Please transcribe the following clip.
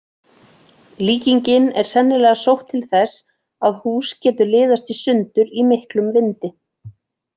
Líkingin er sennilega sótt til þess að hús getur liðast í sundur í miklum vindi.